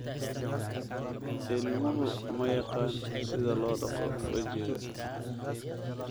Ilmuhu ma yaqaan sida loo dhaqo wejiga.